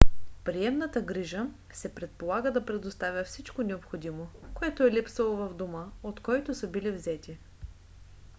приемната грижа се предполага да предоставя всичко необходимо което е липсвало в дома от който са били взети